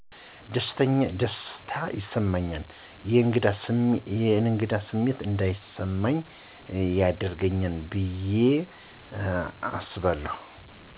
ደስታ ይሰማኛል የእንግዳ ስሜት እንዳይስማኚ ያደርገኛል ብየ አስባለሁ።